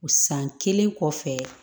San kelen kɔfɛ